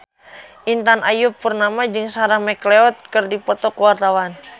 Intan Ayu Purnama jeung Sarah McLeod keur dipoto ku wartawan